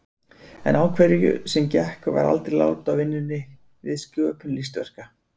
En á hverju sem gekk var aldrei lát á vinnunni við sköpun listaverka.